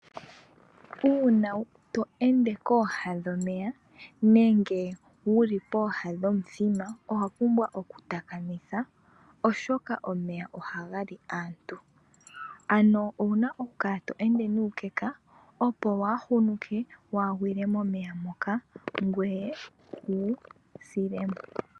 Uuna to ende kooha dhomeya nenge wuli pooha dhomithima, owa pumbwa okutakamitha, oshoka omeya ohaga li aantu. Ano owuna okukala to ende nuukeka, opo waahunuke wugwile momeya moka, ngoye wu sile mo.